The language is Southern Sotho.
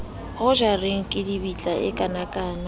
ho jareng kidibitla e kanakana